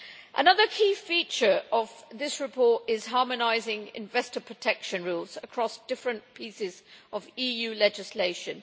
Another key feature of this report is harmonising investor protection rules across different pieces of EU legislation.